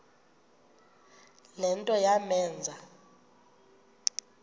le nto yamenza